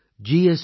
செயலி